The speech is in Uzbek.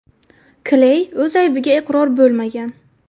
Kley o‘z aybiga iqror bo‘lmagan.